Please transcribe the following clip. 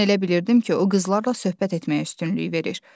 Mən elə bilirdim ki, o qızlarla söhbət etməyə üstünlük verir.